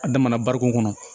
A damana barikon kɔnɔ